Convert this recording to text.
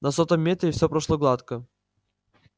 на сотом метре все прошло гладко